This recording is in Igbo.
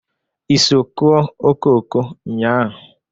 I so kụọ okooko nnyaa?